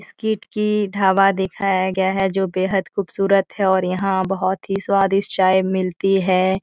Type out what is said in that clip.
की ढाबा दिखाया गया है जो बेहद खूबसूरत है और यहाँ बहोत ही स्वादिष्ट चाय मिलती है।